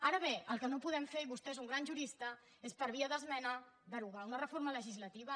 ara bé el que no podem fer i vostè és un gran jurista és per via d’esmena derogar una reforma legislativa